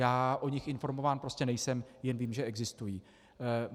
Já o nich informován prostě nejsem, jen vím, že existují.